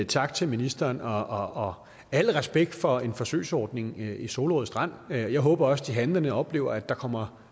tak til ministeren og al respekt for en forsøgsordning i solrød strand jeg håber også at de handlende oplever at der kommer